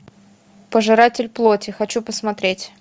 пожиратель плоти хочу посмотреть